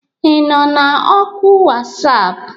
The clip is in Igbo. Ị nọ na oku WhatsApp?